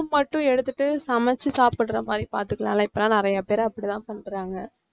room மட்டும் எடுத்துட்டு சமைச்சு சாப்பிடற மாதிரி பார்த்துக்கலாம்ல்ல இப்பெல்லாம் நிறைய பேரு அப்படிதான் பண்றாங்க